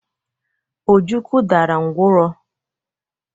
Ojukwu dara ngwọrọ.